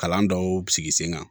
Kalan dɔw sigi sen kan